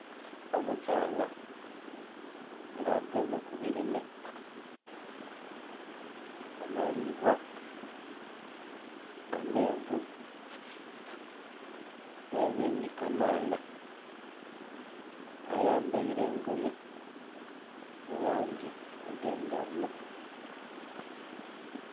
Omukyaala nga agemye ku birime amalibwa, amenvu nhe ebindhi kamaala ayambaire engoye mu langi edhe ndhaghulo.